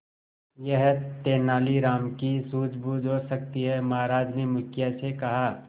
यह तेनालीराम की सूझबूझ हो सकती है महाराज ने मुखिया से कहा